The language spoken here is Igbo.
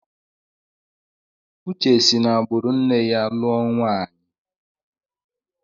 Uche si n'agbụrụ nne ya lụọ nwaanyi.